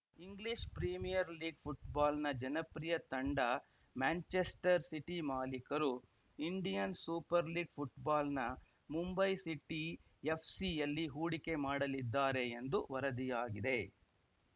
English Premier League ಫುಟ್ಬಾಲ್‌ನ ಜನಪ್ರಿಯ ತಂಡ ಮ್ಯಾಂಚೆಸ್ಟರ್‌ ಸಿಟಿ ಮಾಲೀಕರು ಇಂಡಿಯನ್‌ ಸೂಪರ್‌ ಲೀಗ್‌ ಫುಟ್ಬಾಲ್‌ನ ಮುಂಬೈ ಸಿಟಿ ಎಫ್‌ಸಿಯಲ್ಲಿ ಹೂಡಿಕೆ ಮಾಡಲಿದ್ದಾರೆ ಎಂದು ವರದಿಯಾಗಿದೆ